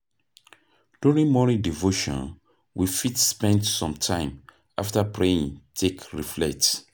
During morning devotion we fit spend some time after praying take reflect